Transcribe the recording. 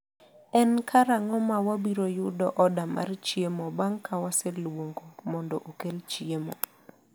en karang’o ma wabiro yudo order mar chiemo bang’ ka waseluongo mondo okel chiemo.